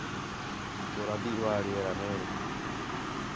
Ũrathi wa rĩera nĩ ũrĩkũ?